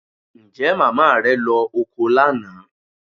Ǹjẹ́ màmá rẹ lọ oko lánàá?